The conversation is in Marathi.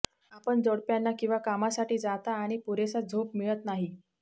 आपण जोडप्यांना किंवा कामासाठी जाता आणि पुरेसा झोप मिळत नाही